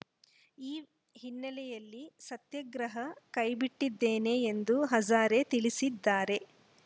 ಈ ಹಿನ್ನೆಲೆಯಲ್ಲಿ ಸತ್ಯಾಗ್ರಹ ಕೈಬಿಟ್ಟಿದ್ದೇನೆ ಎಂದು ಹಜಾರೆ ತಿಳಿಸಿದ್ದಾರೆ